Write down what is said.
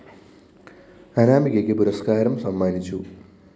അനാമികക്ക് പുരസ്‌കാ രം സമ്മാനിച്ചു